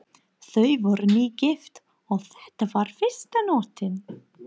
Þau voru nýgift og þetta var fyrsta nóttin.